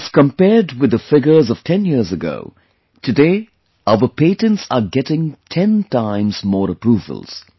If compared with the figures of 10 years ago... today, our patents are getting 10 times more approvals